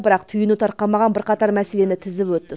бірақ түйіні тарқамаған бірқатар мәселені тізіп өтті